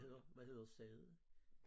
Hvad hedder hvad hedder stedet?